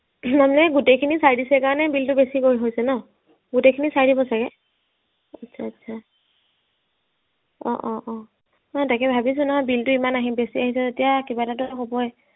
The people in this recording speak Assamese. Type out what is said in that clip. মানে গোটে খিনি চাই দিছে কাৰণে bill তো বেছিকৈ হৈছে ন গোটে খিনি চাই দিব চাগে, আচ্ছা আচ্ছা অ অ অ মানে তাকে ভাবিছো নহয় bill টো ইমান আহি বেছি অহিছে যেতিয়া কিবা এটাতো হবই